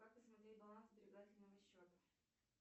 как посмотреть баланс сберегательного счета